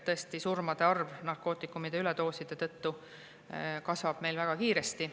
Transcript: Tõesti, surmade arv narkootikumide üledoosi tõttu kasvab meil väga kiiresti.